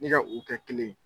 Ne ka u kɛ kelen ye.